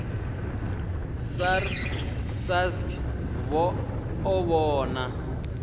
srsa sasc vha o vhona